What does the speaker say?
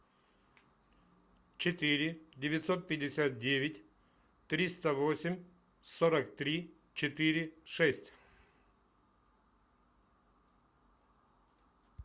четыре девятьсот пятьдесят девять триста восемь сорок три четыре шесть